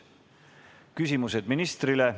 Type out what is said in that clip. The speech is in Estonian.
Järgnevad küsimused ministrile.